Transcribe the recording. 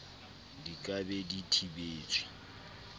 di ka be di thibetswe